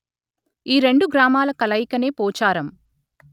ఈ రెండు గ్రామాల కలయికనే పోఛారం